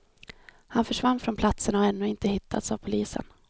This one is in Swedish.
Han försvann från platsen och har ännu inte hittats av polisen.